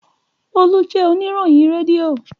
Olú jẹ oníròyìn rédíò.